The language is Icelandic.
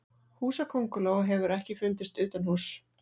húsakönguló hefur ekki fundist utanhúss